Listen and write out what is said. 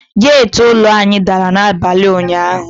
Geti ụlọ anyị dara n;abalị ụnyaahụ.